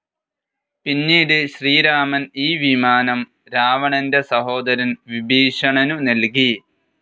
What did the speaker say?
പിന്നീട് ശ്രീരാമൻ ഈ വിമാനം രാവണന്റെ സഹോദരൻ വിഭീഷണനു നൽകി.